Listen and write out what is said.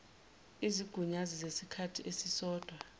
izigunyazi zesikhathi esisodwa